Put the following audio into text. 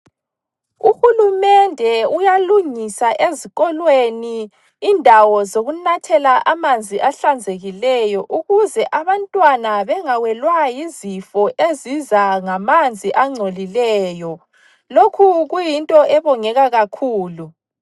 Uhulumende uyalungisa ezikolweni indawo zokunathela amanzi ahlanzekileyo ukuze abantwana bengawelwa yizifo eziza ngamanzi angcolileyo. Lokhu kuyinto ebongeka kakhulu.